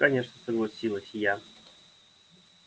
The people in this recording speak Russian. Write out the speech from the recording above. конечно согласилась я